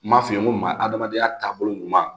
N m'a f'i ye n ko maa adamadenya taabolo ɲuman